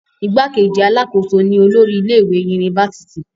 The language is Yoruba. igbákejì alákòóso ni olórí ilé ìwé unifásitì